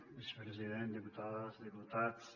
vicepresident diputades i diputats